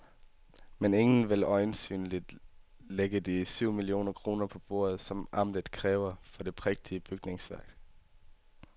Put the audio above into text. Men ingen vil øjensynligt lægge de syv millioner kroner på bordet, som amtet kræver for det prægtige bygningsværk.